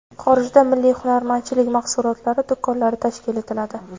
Xorijda milliy hunarmandchilik mahsulotlari do‘konlari tashkil etiladi.